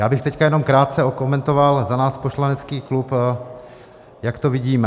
Já bych teď jenom krátce okomentoval za náš poslanecký klub, jak to vidíme.